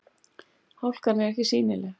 Hálkan er ekki sýnileg